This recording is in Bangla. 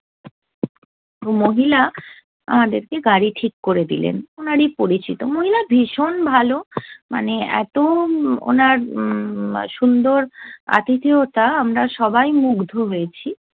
মহিলা আমাদেরকে গাড়ি ঠিক করে দিলেন, উনারই পরিচিত। মহিলা ভীষণ ভালো মানে এতো উনার উম সুন্দর আতিথেয়তা আমরা সবাই মুগ্ধ হয়েছি।